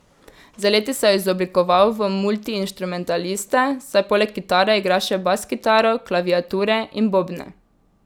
Z leti se je izoblikoval v multiinštrumentalista, saj poleg kitare igra še baskitaro, klaviature in bobne.